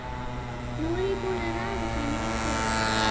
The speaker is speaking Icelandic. Nú er ég búinn að raða þeim í rétta röð.